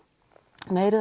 meira